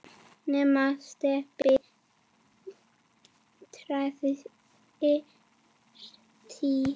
nema Stebbi træði strý.